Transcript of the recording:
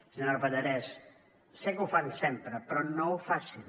senyora pallarès sé que ho fan sempre però no ho facin